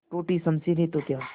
टूटी शमशीरें तो क्या